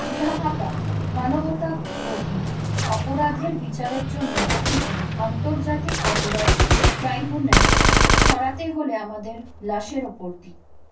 ঢাকাঃ মানবতাবিরোধী অপরাধের বিচারের জন্য গঠিত আন্তর্জাতিক অপরাধ ট্রাইব্যুনাল সরাতে হলে আমাদের লাশের ওপর দি